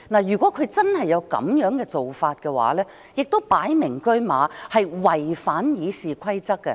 如果他真的有這樣的做法，亦是"擺明車馬"違反《議事規則》的。